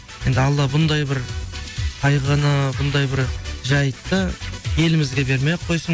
енді алла бұндай бір қайғыны бұндай бір жайтты елімізге бермей ақ қойссын